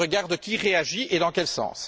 Je regarde qui réagit et dans quel sens.